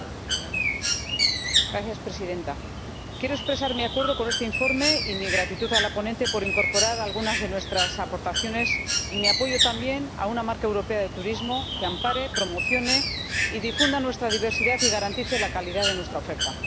Señora Presidenta, quiero expresar mi acuerdo con este informe y mi gratitud a la ponente por incorporar algunas de nuestras aportaciones, y mi apoyo también a una marca europea de turismo que ampare, promocione y difunda nuestra diversidad y garantice la calidad de nuestra oferta.